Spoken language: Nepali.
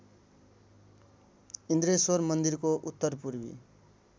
इन्द्रेश्वर मन्दिरको उत्तरपूर्वी